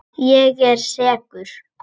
Ég er sekur.